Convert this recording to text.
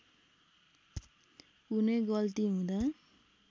कुनै गल्ती हुँदा